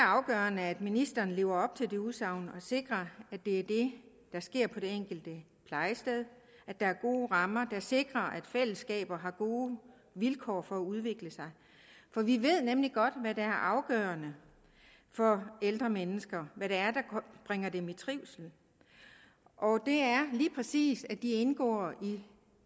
afgørende at ministeren lever op til det udsagn og sikrer at det er det der sker på det enkelte plejested at der er gode rammer der sikrer at fællesskaber har gode vilkår for at udvikle sig for vi ved nemlig godt hvad der er afgørende for ældre mennesker hvad det er der bringer dem i trivsel og det er lige præcis at de indgår i